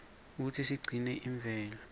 kutsi sigcine imvelo